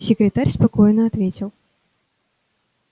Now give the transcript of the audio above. секретарь спокойно ответил